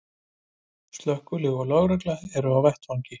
Slökkvilið og lögregla eru á vettvangi